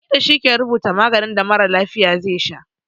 Likita shi ke rubuta maganin da mara lafiya ze sha